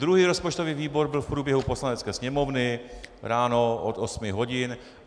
Druhý rozpočtový výbor byl v průběhu Poslanecké sněmovny, ráno od osmi hodin.